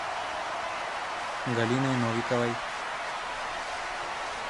галиной новиковой